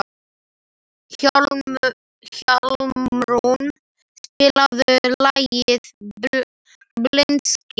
Hjálmrún, spilaðu lagið „Blindsker“.